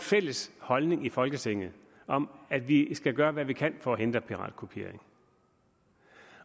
fælles holdning i folketinget om at vi skal gøre hvad vi kan for at hindre piratkopiering